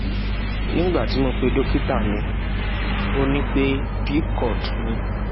nigbati mo pe dokita mi o ni pe pcod ni